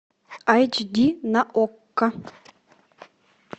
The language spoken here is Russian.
эйч ди на окко